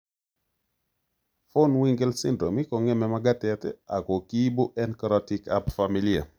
Vohwinkel syndrome kong'eme magatet ako kiibu en korotik ab familia